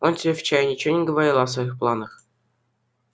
он тебе вчера ничего не говорил о своих планах